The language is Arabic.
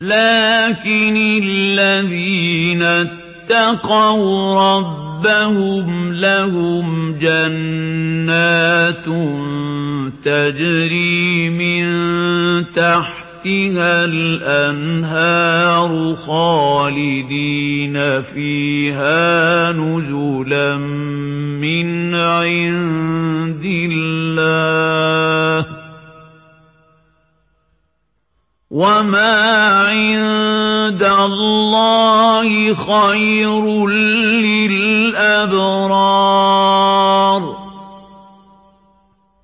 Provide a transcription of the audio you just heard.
لَٰكِنِ الَّذِينَ اتَّقَوْا رَبَّهُمْ لَهُمْ جَنَّاتٌ تَجْرِي مِن تَحْتِهَا الْأَنْهَارُ خَالِدِينَ فِيهَا نُزُلًا مِّنْ عِندِ اللَّهِ ۗ وَمَا عِندَ اللَّهِ خَيْرٌ لِّلْأَبْرَارِ